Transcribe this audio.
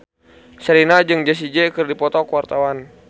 Sherina jeung Jessie J keur dipoto ku wartawan